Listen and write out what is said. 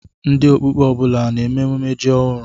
Ndị Okpukpe ọ bụla a na-eme emume ji ọhụrụ?